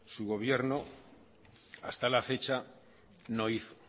su gobierno hasta la fecha no hizo